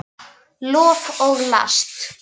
Lof og last